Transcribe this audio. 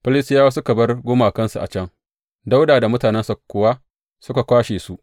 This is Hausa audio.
Filistiyawa suka bar gumakansu a can, Dawuda da mutanensa kuwa suka kwashe su.